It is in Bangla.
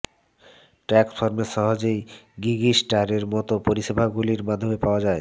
ট্যাক্স ফর্মেও সহজেই গিগিস্টারের মতো পরিষেবাগুলির মাধ্যমে পাওয়া যায়